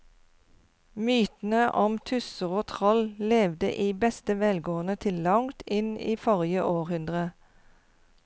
Mytene om tusser og troll levde i beste velgående til langt inn i forrige århundre.